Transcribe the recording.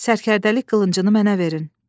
Sərkərdəlik qılıncını mənə verin.